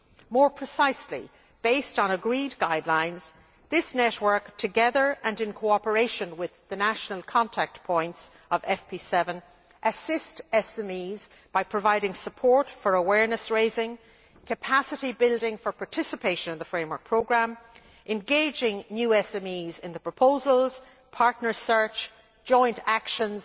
More precisely, based on agreed guidelines, this network, together and in cooperation with the national contact points of FP7, assists SMEs by providing support for awareness raising, capacity building for participation in the framework programme, engaging new SMEs in the proposals, partner search, joint actions